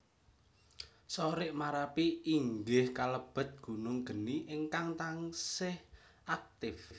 Sorik Marapi inggih kalebet gunung geni ingkang taksih aktif